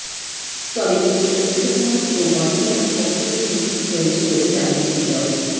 তবে এটি ঐক্যফ্রন্ট ও গণফোরামের পক্ষ থেকেই হয়েছে বলে জানিয়েছেন ড